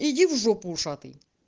иди в жопу ушатый